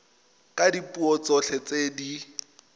ka dipuo tsotlhe tse di